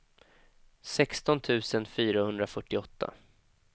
sexton tusen fyrahundrafyrtioåtta